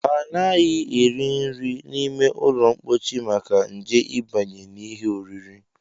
Anaghị eri nri n'ime ụlọmkpochi maka nje ịbanye n'ihe oriri